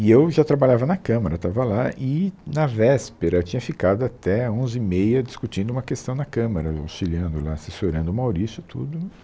E eu já trabalhava na Câmara, estava lá e na véspera eu tinha ficado até onze e meia discutindo uma questão na Câmara, auxiliando lá, assessorando o Maurício e tudo.